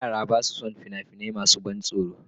Yara ba sa son fina-finai masu ban tsoro.